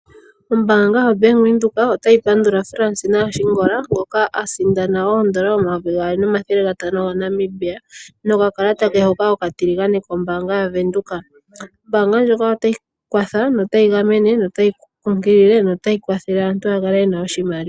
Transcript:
Ombaanga yoBank Windhoek otayi pandula Fransina Ashingola ngoka asindana oondola omayovi gaali nomathele gatano gaNamibia nokakalata ke hoka okatiligane kombaanga yaVenduka. Ombaanga ndjoka otayi kwatha, notayi gamene, notayi kunkilile notayi kwathele aantu ya kale ye na oshimaliwa.